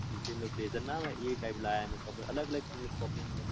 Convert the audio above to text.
ના ના લાયા છે કપડાં. અલગ અલગ shopping કરી તી.